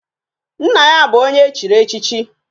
Nna ya bu onye echiri echichi